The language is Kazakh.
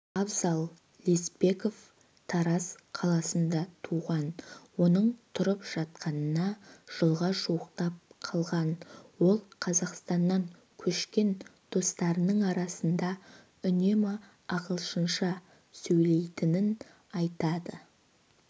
абзал лесбеков тараз қаласында туған оның тұрып жатқанына жылға жуықтап қалған ол қазақстаннан көшкен достарының арасында үнемі ағылшынша сөйлейтінін айтады